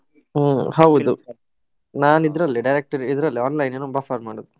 ಹ್ಮ್ ಹೌದು, ನಾನ್ ಇದ್ರಲ್ಲೇ direct ಇದ್ರಲ್ಲಿ online ಮಾಡೋದು